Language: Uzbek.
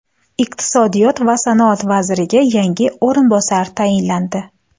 Iqtisodiyot va sanoat vaziriga yangi o‘rinbosarlar tayinlandi.